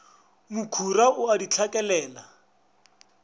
mokhura o a di hlakelela